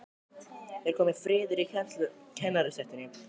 Er kominn friður í kennarastéttinni?